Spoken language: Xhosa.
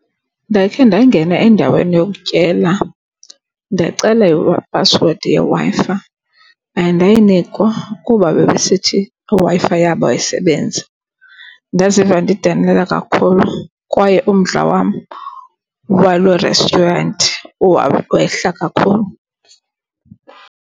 Ndakhe ndangena endaweni yokutyela ndacela iiphasiwedi yeWi-Fi, andayinikwa kuba bebesithi iWi-Fi yabo ayisebenzi. Ndaziva ndidanile kakhulu kwaye umdla wam waloo restaurant wehla kakhulu.